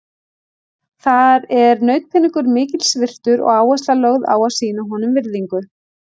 Þar er nautpeningur mikils virtur og áhersla lögð á að sýna honum virðingu.